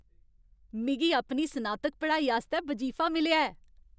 मिगी अपनी स्नातक पढ़ाई आस्तै बजीफा मिलेआ ऐ।